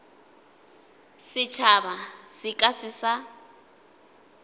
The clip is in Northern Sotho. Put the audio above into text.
setšhaba se ka se sa